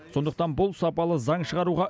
сондықтан бұл сапалы заң шығаруға